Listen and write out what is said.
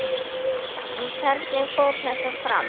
En hvernig fór þetta fram?